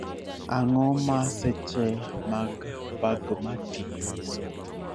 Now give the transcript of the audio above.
Ang'o ma seche mag bagmati nyiso